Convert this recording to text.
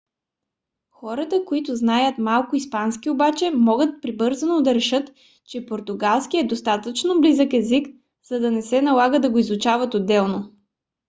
хората които знаят малко испански обаче могат прибързано да решат че португалският е достатъчно близък език за да не се налага да го изучават отделно